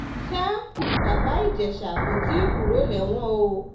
sa bàbá ìjẹ́sà kò tí ì kúrò lẹ́wọ̀n o